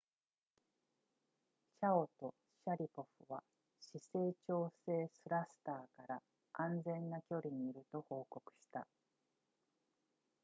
チャオとシャリポフは姿勢調整スラスターから安全な距離にいると報告した